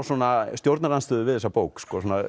stjórnarandstöðu við þessa bók